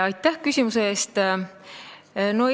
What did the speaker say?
Aitäh küsimuse eest!